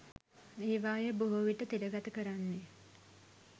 ඒවායේ බොහෝ විට තිරගත කරන්නේ